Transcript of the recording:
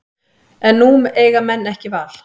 En nú eiga menn ekki val